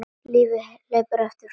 Lífið hleypur ekki frá okkur.